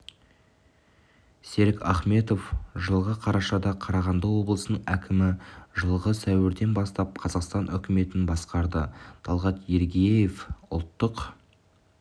серік ахметов жылғы қарашада қарағанды облысының әкімі жылғы сәуірден бастап қазақтан үкіметін басқарды талғат ермегияев ұлттық